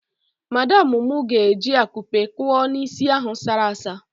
Madamụ mụ ga-eji akupe kuo n'isi ahụ asara asa.